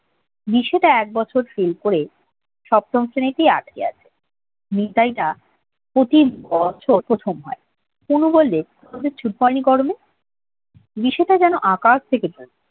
বিশেটা এক বছর ফেল করে সপ্তম শ্রেণীতেই আটকে আছে নিতাই তা প্রতিবছর প্রথম হয় কুমু বলল তোদের ছুটি পড়েনি গরমের বিশেটা যেন আকাশ থেকে পড়ল